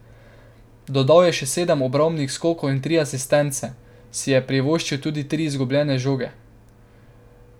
Dodal je še sedem obrambnih skokov in tri asistence, si je pa privoščil tudi tri izgubljene žoge.